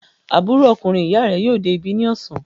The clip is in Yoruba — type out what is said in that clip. Àbúrò ọkùnrin ìyá rẹ yóò dé ibi ní ọ̀sán.